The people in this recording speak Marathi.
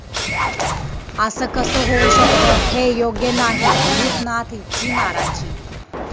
असं कसं होऊ शकतं? हे योग्य नाही, 'भूतनाथ'ची नाराजी